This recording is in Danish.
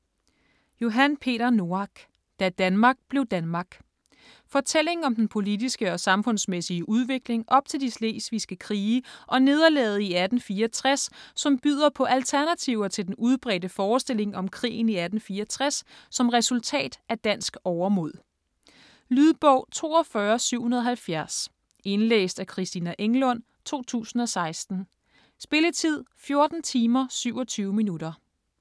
Noack, Johan Peter: Da Danmark blev Danmark Fortælling om den politiske og samfundsmæssige udvikling op til de slesvigske krige og nederlaget i 1864 som byder på alternativer til den udbredte forestilling om krigen i 1864 som resultat af dansk overmod. Lydbog 42770 Indlæst af Christina Englund, 2016. Spilletid: 14 timer, 27 minutter.